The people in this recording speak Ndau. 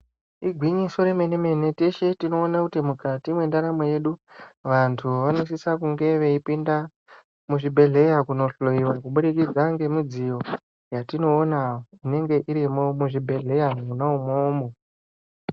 Igwinyiso remenemene teshe tinoona kuti mukati mwendaramo yedu vanthu vanosisa kunge veipinda muzvibhedhleya kubudikdza ngemidziyo yatinooonq inenge irimwo muchibhedhleya mwona umwomwo.